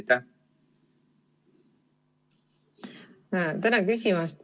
Tänan küsimast!